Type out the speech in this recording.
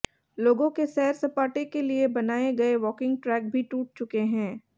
लोगों के सैर सपाटे के लिए बनाये गये वॉकिंग ट्रैक भी टूट चुके हैं